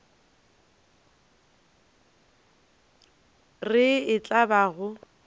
re e tla ba go